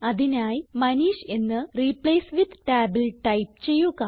അതിനായി മനീഷ് എന്ന് replace with ടാബിൽ ടൈപ്പ് ചെയ്യുക